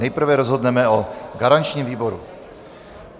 Nejprve rozhodneme o garančním výboru.